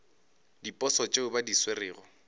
diposo tšeo ba di swerego